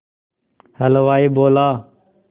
हलवाई बोला